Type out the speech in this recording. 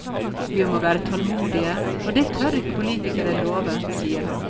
Vi må være tålmodige, og det tør ikke politikerne love, sier han.